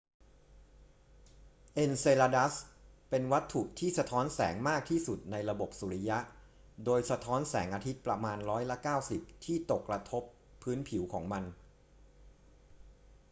เอนเซลาดัสเป็นวัตถุที่สะท้อนแสงมากที่สุดในระบบสุริยะโดยสะท้อนแสงอาทิตย์ประมาณร้อยละ 90 ที่ตกกระทบพื้นผิวของมัน